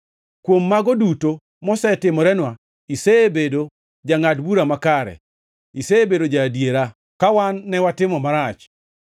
Kuom mago duto mosetimorenwa, isebedo jangʼad bura makare; isebedo ja-adiera, ka wan ne watimo marach.